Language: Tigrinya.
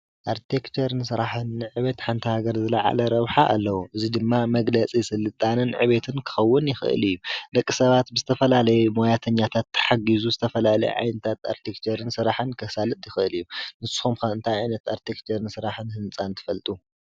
ኣርክቴክቸር ንስራሕን ንዕቤት ሓንቲ ሃገር ዝለዓለ ረብሓ ኣለዎ እዚ ድማ መግለፂ ስልጣነን ዕቤትን ክኸውን ይክእል እዩ ፡፡ ደቂ ሰባት ብዝተፈላለየ ሞያተኛታት ተሓጊዙ ዝተፈላለየ ዓይነት ስራሕኣርክቴክቸር ስራሕን ከሳልጥ ይክእል ፡፡ ንስኩም ከ እንታይ ዓይነት ስራሕቲ ኣርክቴክቸር ስሯሕን ህንፃን ትፈልጡ?